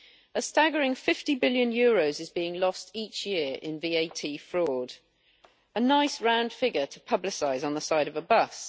A staggering EUR 50 billion is being lost each year in VAT fraud. A nice round figure to publicise on the side of a bus!